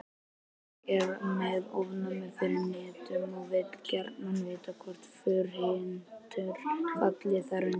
Ég er með ofnæmi fyrir hnetum og vil gjarnan vita hvort furuhnetur falli þar undir.